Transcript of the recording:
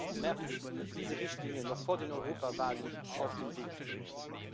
22. März diese Richtlinie noch vor der Europawahl auf den Weg zu bringen.